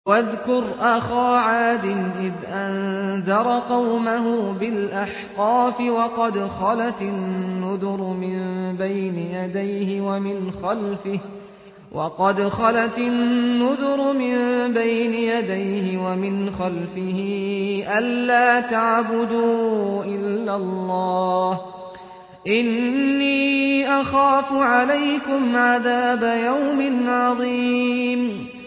۞ وَاذْكُرْ أَخَا عَادٍ إِذْ أَنذَرَ قَوْمَهُ بِالْأَحْقَافِ وَقَدْ خَلَتِ النُّذُرُ مِن بَيْنِ يَدَيْهِ وَمِنْ خَلْفِهِ أَلَّا تَعْبُدُوا إِلَّا اللَّهَ إِنِّي أَخَافُ عَلَيْكُمْ عَذَابَ يَوْمٍ عَظِيمٍ